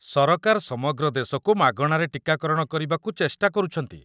ସରକାର ସମଗ୍ର ଦେଶକୁ ମାଗଣାରେ ଟୀକାକରଣ କରିବାକୁ ଚେଷ୍ଟା କରୁଛନ୍ତି।